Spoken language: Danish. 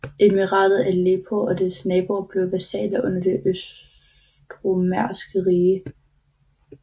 Emiratet Aleppo og dets naboer blev vasaller under Det østromerske Rige